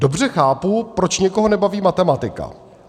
Dobře chápu, proč někoho nebaví matematika.